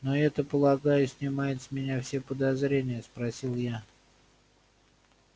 но это полагаю снимает с меня все подозрения спросил я